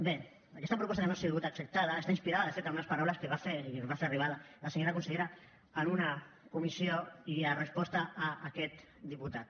bé aquesta proposta que no ha sigut acceptada està inspirada de fet en unes paraules que va fer i ens va fer arribar la senyora consellera en una comissió i en resposta a aquest diputat